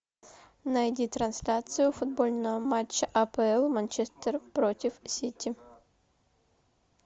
найди трансляцию футбольного матча апл манчестер против сити